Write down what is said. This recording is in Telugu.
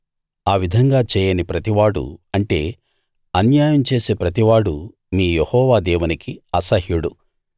ఆ విధంగా చేయని ప్రతివాడూ అంటే అన్యాయం చేసే ప్రతివాడూ మీ యెహోవా దేవునికి అసహ్యుడు